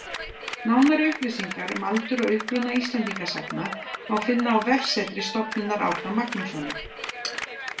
Nánari upplýsingar um aldur og uppruna Íslendingasagna má finna á vefsetri Stofnunar Árna Magnússonar